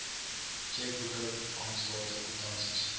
tjekboeke bankstate kwitansies